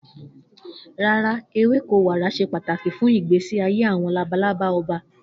No, milkweed is essential for monarch butterflies' life cycle.